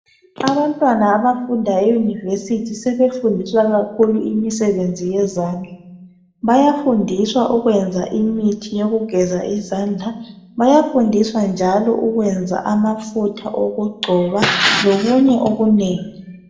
Abantwana abafunda eUnivesithi sebefundiswa kakhulu imisebenzi yezandla, bayafundiswa ukwenza imithi yokugeza izandla, bayafundiswa njalo ukwenza amafutha okugcoba lokunye okunengi.